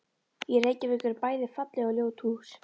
Í Reykjavík eru bæði falleg og ljót hús.